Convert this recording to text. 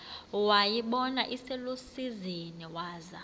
wayibona iselusizini waza